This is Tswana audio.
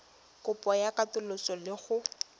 kopo ya katoloso le go